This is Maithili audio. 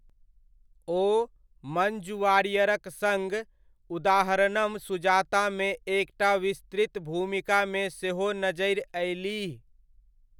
ओ मञ्जु वारियरक सङ्ग 'उदाहारणम सुजातामे एक टा विस्तृत भूमिकामे सेहो नजरि अयलीह।